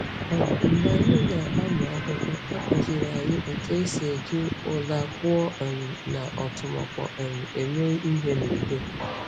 um Mgbe anyị na-amụ akwụkwọ, a kụziiri anyị otú e si eji ụla kpụọ um na ọ́tụmọkpọ um eme ihe n’udo.